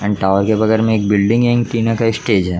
Add tower के बगल में एक बिल्डिंग है एड टीना का स्टेज है।